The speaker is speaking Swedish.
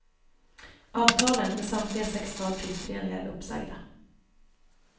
Avtalen med samtliga sex fartygsföreningar är uppsagda.